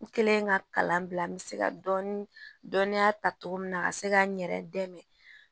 N kɛlen ka kalan bila n bɛ se ka dɔɔnin dɔnniya ta togo min na ka se ka n yɛrɛ dɛmɛ